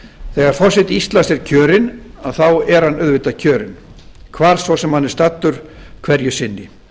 þegar forseti íslands er kjörinn þá er hann auðvitað kjörinn hvar svo sem hann er staddur hverju sinni